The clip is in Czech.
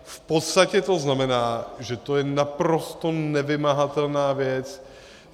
V podstatě to znamená, že to je naprosto nevymahatelná věc.